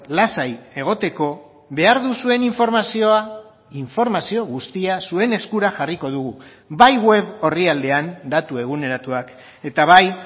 lasai egoteko behar duzuen informazioa informazio guztia zuen eskura jarriko dugu bai web orrialdean datu eguneratuak eta bai